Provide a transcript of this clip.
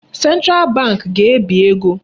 Central Bank ga-ebi ego.